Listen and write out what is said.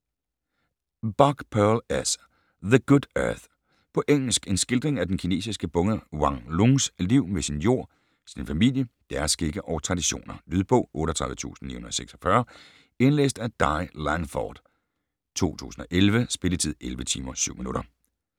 Buck, Pearl S.: The good earth På engelsk. En skildring af den kinesiske bonde Wang Lungs liv med sin jord, sin familie, deres skikke og traditioner. Lydbog 38946 Indlæst af Di Langford, 2011. Spilletid: 11 timer, 7 minutter.